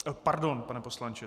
Pardon, pane poslanče.